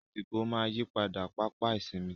Àsìkò máa ń yí padà, pápá ìsinmi.